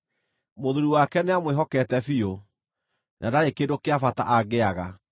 Mũthuuri wake nĩamwĩhokete biũ, na ndarĩ kĩndũ kĩa bata angĩaga.